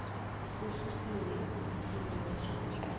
ususiwe eofisini letrust